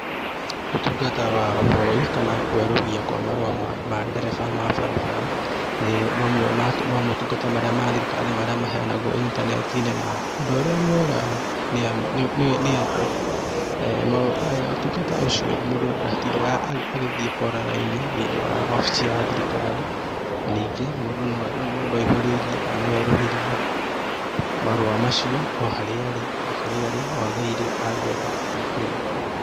Utungata wa woi, kana kwerũhia kwa marũa ma ndereba ma barabara, nĩ mamwe ma motungata marĩa ma thirikari marĩa maheangwo intaneti-inĩ, na ũndũ ũrĩa mwega nĩ atĩ, ũtungata ũcio mũndũ ndatindaga agĩthiĩ kwara raini thĩ-inĩ wa obici ya thirikari, ningĩ mũndũ no aihũrĩrie, kana no erũhĩrie marũa macio, o harĩa arĩ, o kũrĩa arĩ, o tha iria angĩenda kũihũria.